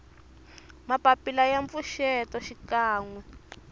mapapila ya mpfuxeto xikan we